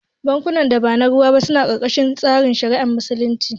Bankunan da ba na ruwa ba suna karkashin tsarin shari'ar Musulunci